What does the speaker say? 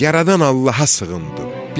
Yaradan Allaha sığındım.